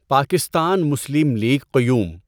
Pakistan Muslim League Qayyum